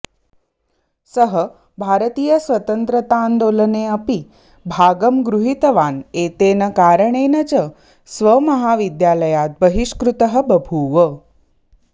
सः भारतीय स्वतंत्रताऽन्दोलने अपि भागं गृहितवान् एतेन कारणेन च स्वमहाविद्यालयात् बहिष्कृतः बभूव